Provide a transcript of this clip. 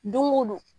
Don o don